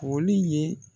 Foli ye